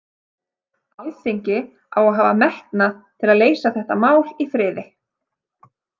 Alþingi á að hafa metnað til að leysa þetta mál í friði.